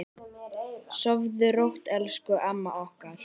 Sofðu rótt, elsku amma okkar.